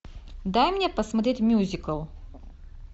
дай мне посмотреть мюзикл